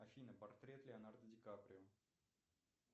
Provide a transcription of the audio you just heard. афина портрет леонардо ди каприо